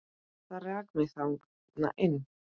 Það rak mig þarna inn.